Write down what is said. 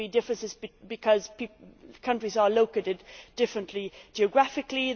There will be differences because countries are located differently, geographically